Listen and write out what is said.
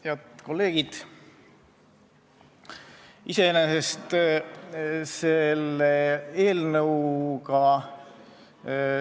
Head kolleegid!